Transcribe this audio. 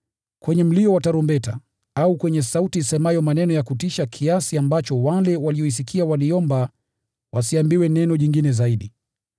kwenye mlio wa tarumbeta, au kwenye sauti isemayo maneno ya kutisha kiasi ambacho wale walioisikia waliomba wasiambiwe neno jingine zaidi,